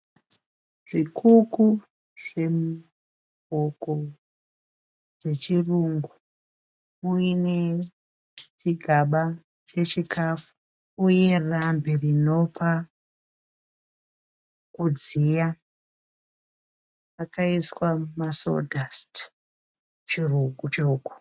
Zvikuku zvehuku dzechirungu muine chigaba chechikafu uye rambi rinopa kudziya. Makaiswa masodhasiti, chirugu chehuku.